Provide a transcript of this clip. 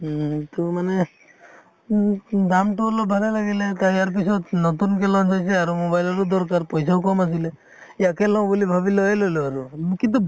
উম তʼ মানে দামটো অলপ ভালে লাগিলে তা ইয়াৰ পিছত নতুনকে launch হৈছে আৰু mobile ৰো দৰকাৰ পইছাও কম আছিলে, ইয়াকে লওঁ বুলি ভাবি লৈয়ে ললো আৰু উম কিন্তু